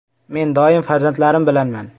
“Men doim farzandlarim bilanman.